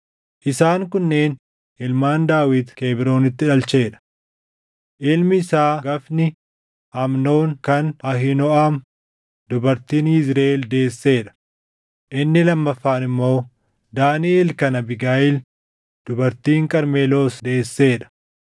Isaan kunneen ilmaan Daawit Kebroonitti dhalchee dha: Ilmi isaa hangafni Amnoon kan Ahiinooʼam dubartiin Yizriʼeel deessee dha; inni lammaffaan immoo Daaniʼel kan Abiigayiil dubartiin Qarmeloos deessee dha;